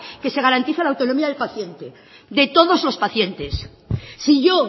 que se garantiza la autonomía del paciente de todos los pacientes si yo